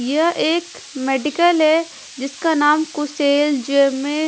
यह एक मेडिकल है जिसका नाम कुशेल जेमे--